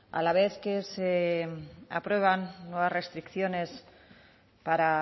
a la vez que se aprueban nuevas restricciones para